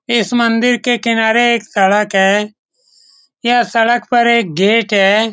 इस मंदिर के किनारे एक सड़क है यह सड़क पर एक गेट है।